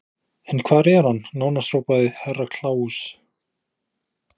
En hvar er hann, nánast hrópaði Herra Kláus.